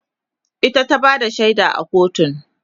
ita ta Bada shaida a kotun